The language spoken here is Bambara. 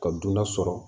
Ka dunan sɔrɔ